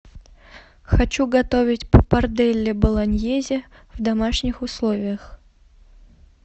хочу готовить паппарделле болоньезе в домашних условиях